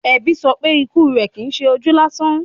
Ẹbí sọ pé ikú rẹ̀ Kìí ṣe ojú lásán.